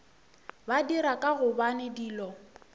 ba dira ka gobane dilo